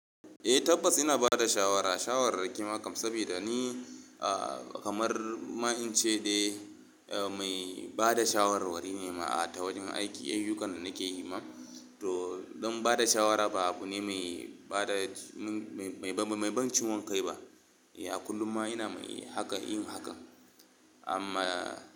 Eh tabbas ina bada shawara, shawarar kimiyya kam saboda ni kamar ma in ce dai mai bada shawarwari ne ma a ta wajen aiki, ayyukan da nake yi ma. To don bada shawara ba abu ne mai ban ciwon kai ba. A kullum ma ina yin hakan amma.